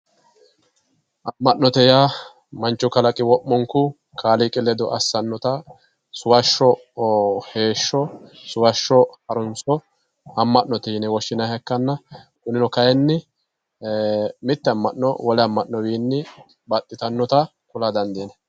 amma'note yaa manchu kalaqi wo'munku kaaliiqi ledo assannota suvasho heeshsho suvashsho harunso amma'note yine woshshinayiiha ikkanna kunino kayiini mitte amma'no wole amma'nowiinni baxxitannota kula dandiinaye